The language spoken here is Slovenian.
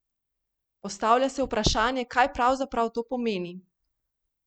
Postavlja se vprašanje, kaj pravzaprav to pomeni?